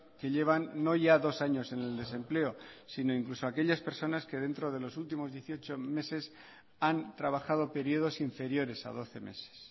que llevan no ya dos años en el desempleo sino incluso aquellas personas que dentro de los últimos dieciocho meses han trabajado periodos inferiores a doce meses